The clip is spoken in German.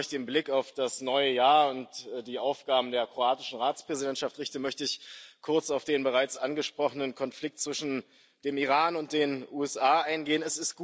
Bevor ich den Blick auf das neue Jahr und die Aufgaben des kroatischen Ratsvorsitzes richte, möchte ich kurz auf den bereits angesprochenen Konflikt zwischen dem Iran und den USA eingehen.